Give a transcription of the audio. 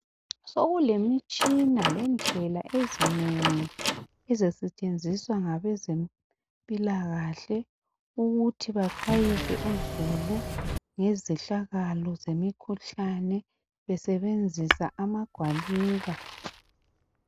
Sokulemitshina lendlela ezinengi ezisentshenziswa ngabezempila kahle ukuthi baxwayise uzulu ngezehlakalo zemikhuhlane besebenzisa amagwaliba